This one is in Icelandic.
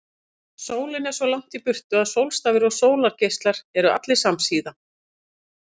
Sólin er svo langt í burtu að sólstafir og sólargeislar eru allir samsíða.